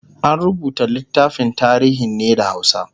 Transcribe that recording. an rubuta littafin tarihin ne da hausa